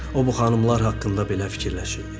O bu xanımlar haqqında belə fikirləşirdi.